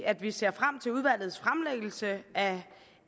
at vi ser frem til udvalgets fremlæggelse af